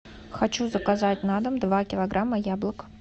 хочу заказать на дом два килограмма яблок